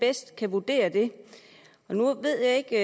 bedst kan vurdere det nu ved jeg ikke